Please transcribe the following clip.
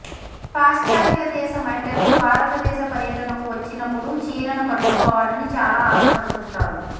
పాశ్చాత్యదేశ మహిళలు భారతదేశ పర్యటనకు వచ్చినప్పుడు చీరెను కట్టుకోవాలని చాలా ఆశపడుతుంటారు